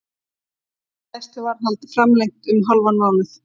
Gæsluvarðhald framlengt um hálfan mánuð